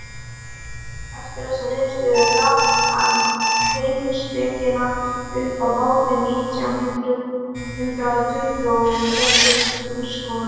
eftir þessa niðurstöðu gaf hann heimspekina upp á bátinn nítján hundrað tuttugu og gerðist grunnskólakennari